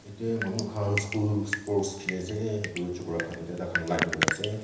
yete manu khan school sports khiliase edu chokra khan etya takhan line kurnaase.